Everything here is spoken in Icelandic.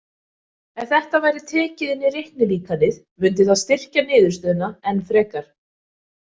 Ef þetta væri tekið inn í reiknilíkanið mundi það styrkja niðurstöðuna enn frekar.